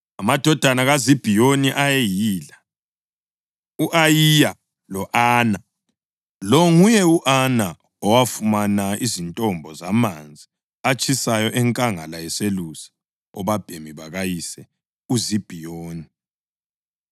Amadodana kaZibhiyoni ayeyila: u-Ayiya lo-Ana. (Lo nguye u-Ana owafumana izintombo zamanzi atshisayo enkangala eselusa obabhemi bakayise uZibhiyoni.)